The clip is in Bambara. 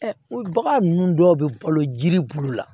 bagan ninnu dɔw bɛ balo jiri bulu la